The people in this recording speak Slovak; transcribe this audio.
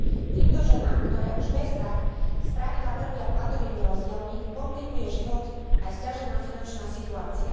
Týmto ženám, ktoré už beztak spravidla trpia platovými rozdielmi, komplikuje život aj sťažená finančná situácia.